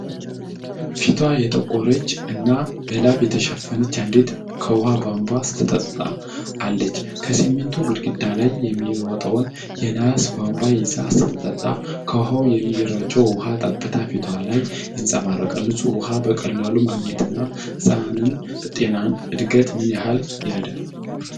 ፊቷ የጠቆረች እና በላብ የተሸፈነች አንዲት ከውሃ ቧንቧ ስትጠጣ አለች። ከሲሚንቶ ግድግዳ ላይ የሚወጣውን የነሐስ ቧንቧ ይዛ ስትጠጣ፣ ከውሃው የሚረጨው የውሃ ጠብታ ፊቷ ላይ ይንፀባረቃል። ንፁህ ውሃ በቀላሉ ማግኘት የሕፃናትን ጤናና እድገት ምን ያህል ይረዳል?